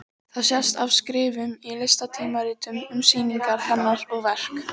Það sést af skrifum í listatímaritum um sýningar hennar og verk.